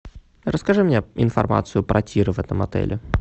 расскажи мне информацию про тир в этом отеле